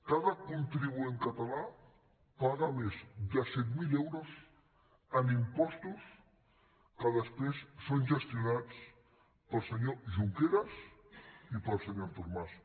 cada contribuent català paga més de set mil euros en impostos que després són gestionats pel senyor junqueras i pel senyor artur mas